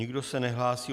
Nikdo se nehlásí.